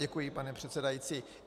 Děkuji, pane předsedající.